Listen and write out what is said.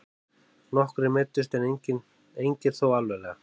Nokkrir meiddust en engir þó alvarlega